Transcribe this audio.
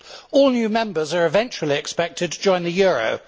All new members are eventually expected to join the euro.